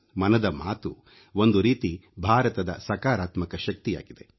ಮನದ ಮಾತು ಒಂದು ರೀತಿ ಭಾರತದ ಸಕಾರಾತ್ಮಕ ಶಕ್ತಿಯಾಗಿದೆ